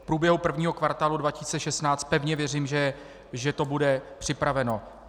V průběhu prvního kvartálu 2016 pevně věřím, že to bude připraveno.